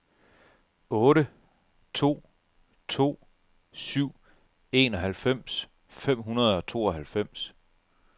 otte to to syv enoghalvfems fem hundrede og tooghalvfems